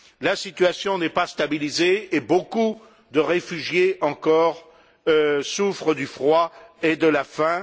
La situation n'est pas stabilisée et beaucoup de réfugiés encore souffrent du froid et de la faim.